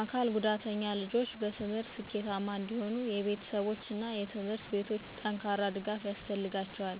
አካል ጉዳተኛ ልጆች በትምህርት ስኬታማ እንዲሆኑ የቤተሰቦች እና ትምህርት ቤቶች ጠንካራ ድጋፍ ያስፈልጋቸዋል።